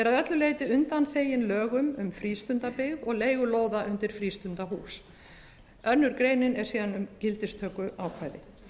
öllu leyti undanþeginn lögum um frístundabyggð og leigu lóða undir frístundahús önnur greinin er síðan um gildistökuákvæði